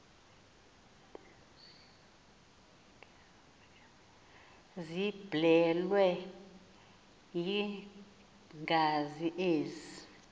ziblelwe yingazi ezi